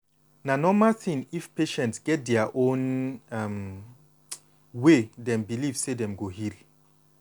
na normal thing if patient get dia own um way dem believe say dem go heal.